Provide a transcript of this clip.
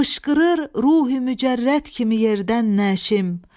Fışqırır ruhi mücərrət kimi yerdən nəşim.